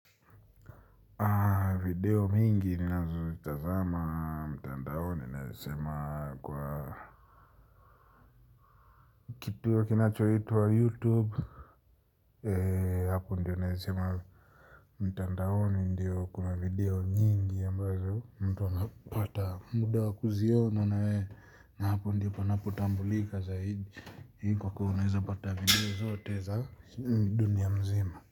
Video mingi ninazozitazama mtandaoni naweza sema kwa kituo kinachoitwa youtube, hapo ndio naweza sema mtandaoni ndio kuna video nyingi ambazo mtu anapata muda wa kuziona naye na hapo ndipo panapotambulika zaidi kwa kuwa unaweza pata video zote za dunia mzima.